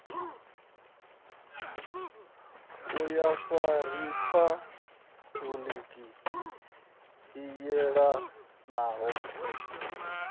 ya vhofha riphabuliki i yelanaho